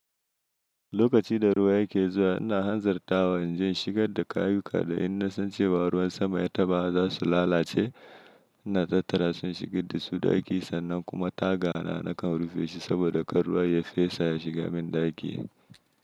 Lokaci da ruwa yake zuwa, ina hanzarta inje in shigar da kayuka, da in na san cewa ruwan sama ya taba, za su lalace, ina tattara su in shiga dasu daki, sannan kuma taga na kan rufe shi, saboda kar ruwa ya fesa ya shiga min ɗaki.